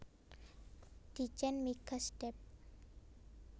Ditjen Migas Dep